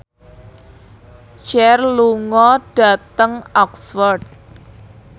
Cher lunga dhateng Oxford